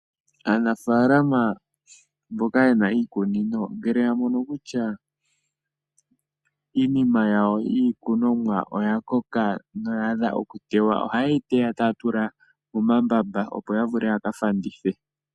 Aanafaalama mboka ye na iikunino ngele ya mono kutya iikunomwa yawo oya koka noya adha okuteywa ohaye yi teya taya tula momambamba, opo ya vule ya ka fandithe.